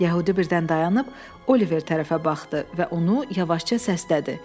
Yəhudi birdən dayanıb Oliver tərəfə baxdı və onu yavaşca səslədi.